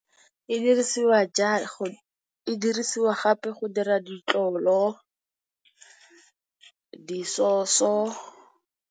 E dirisiwa e dirisiwa gape go dira ditlolo, di soso.